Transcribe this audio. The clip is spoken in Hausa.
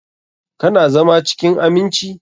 Ka na zama cikin aminci?